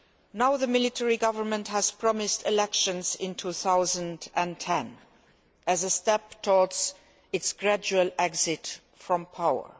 Now the military government has promised elections in 2010 as a step towards its gradual exit from power.